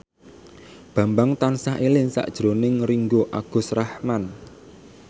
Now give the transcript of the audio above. Bambang tansah eling sakjroning Ringgo Agus Rahman